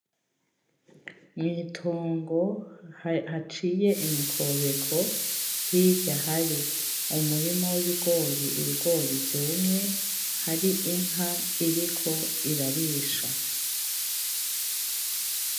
Mwitongo haciye imikobeko, hirya hari Umurima w’Ibigori ,Ibigori vyumye. Hari Inka iriko irarisha